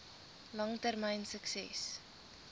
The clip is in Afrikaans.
lang termyn sukses